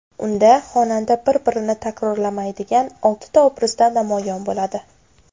Unda xonanda bir-birini takrorlamaydigan oltita obrazda namoyon bo‘ladi.